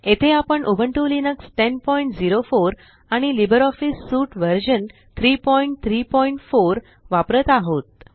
येथे आपण Ubuntu Linux 1004 आणि लिब्रिऑफिस सूट व्हर्शन 334 वापरत आहोत